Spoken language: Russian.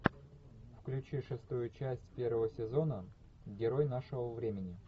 включи шестую часть первого сезона герой нашего времени